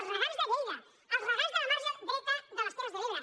els regants de lleida els regants del marge dret de les terres de l’ebre